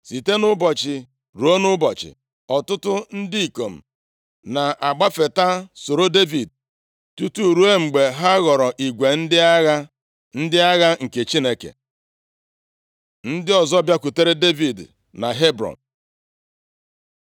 Site nʼụbọchị ruo nʼụbọchị, ọtụtụ ndị ikom na-agbafeta soro Devid, tutu ruo mgbe ha ghọrọ igwe ndị agha, ndị agha nke Chineke. Ndị ọzọ bịakwutere Devid na Hebrọn